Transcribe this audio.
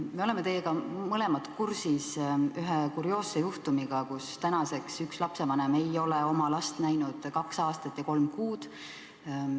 Me oleme teiega mõlemad kursis ühe kurioosse juhtumiga: tänaseks ei ole üks lapsevanem oma last näinud kaks aastat ja kolm kuud.